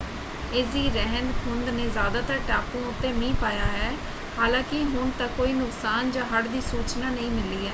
ਇਸਦੀ ਰਹਿੰਦ-ਖੂੰਹਦ ਨੇ ਜ਼ਿਆਦਾਤਰ ਟਾਪੂਆਂ ਉੱਤੇ ਮੀਂਹ ਪਾਇਆ ਹੈ ਹਾਲਾਂਕਿ ਹੁਣ ਤੱਕ ਕੋਈ ਨੁਕਸਾਨ ਜਾਂ ਹੜ੍ਹ ਦੀ ਸੂਚਨਾ ਨਹੀਂ ਮਿਲੀ ਹੈ।